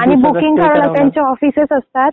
आणि बुकिंग करायला त्यांच्या ऑफिसेस असतात.